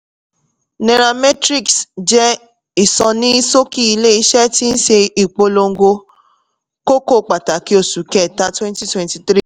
nairametrics jẹ́ ìsọní-ṣókí ilé-iṣẹ́ tí ṣe ìpolongo kókó pàtàkì oṣù kẹta twenty twenty three.